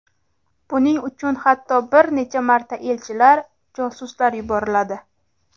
Buning uchun hatto bir necha marta elchilar, josuslar yuboriladi.